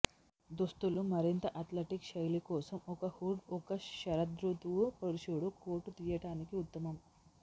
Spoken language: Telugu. దుస్తులు మరింత అథ్లెటిక్ శైలి కోసం ఒక హుడ్ ఒక శరదృతువు పురుషుడు కోటు తీయటానికి ఉత్తమం